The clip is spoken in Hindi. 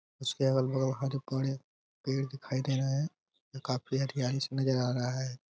उसके अगल-बगल हरे भरे पेड़ दिखाई दे रहे हैं जो काफी हरयाली से नजर आ रहा है।